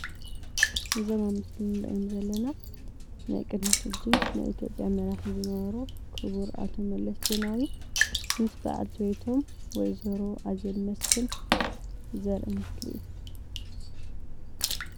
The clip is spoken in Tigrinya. እዞም ኣብ ምስሊ ንሪኦም ዘለና ናይ ቅድሚ ሕጂ ናይ ኢትዮጵያ መራሒ ዝነበሩ ክቡር ኣቶ መለስ ዜናዊ ምስ በዓልቲ ቤቶም ወይዘሮ ኣዜብ መስፍን ዘርኢ ምስሊ እዩ፡፡